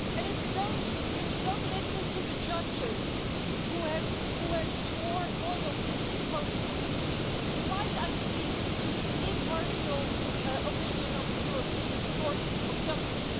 If you don't listen to the judges, who have who have sworn loyalty to the Polish Constitution, you might actually listen to the impartial opinion of the European Court of Justice.